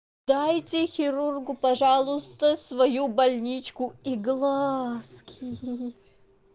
дайте хирургу пожалуйста свою больничку и глазки